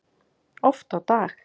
Oft á dag.